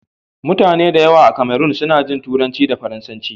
Mutane da yawa a Cameron suna jin Turanci da Faransanci.